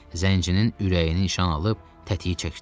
Zəncirinin ürəyini nişan alıb tətiyi çəkdi.